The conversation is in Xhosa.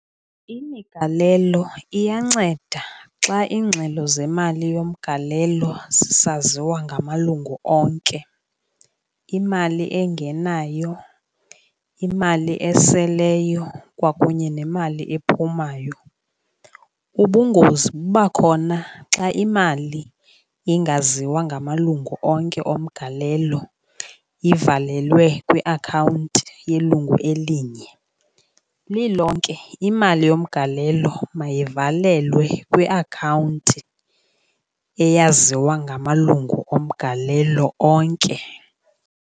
Imigalelo iyanceda xa iingxelo zemali yomgalelo zisaziwa ngamalungu onke, imali engenayo, imali eseleyo kwakunye nemali ephumayo. Ubungozi buba khona xa imali ingaziwa ngamalungu onke omgalelo, ivalelwe kwiakhawunti yelungu elinye. Lilonke imali yomgalelo mayivalelwe kwiakhawunti eyaziwa ngamalungu omgalelo onke.